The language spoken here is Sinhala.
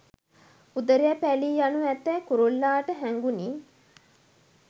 උදරය පැළී යනු ඇතැයි කුරුල්ලාට හැඟුනි